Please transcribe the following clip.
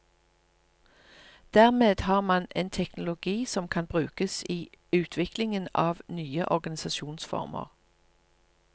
Dermed har man en teknologi som kan brukes i utviklingen av nye organisasjonsformer.